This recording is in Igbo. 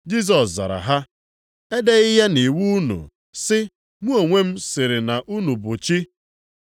Jisọs zara ha, “Edeghị ya nʼiwu unu, sị, ‘Mụ onwe m sịrị na unu bụ chi’ + 10:34 \+xt Abụ 82:6\+xt* ?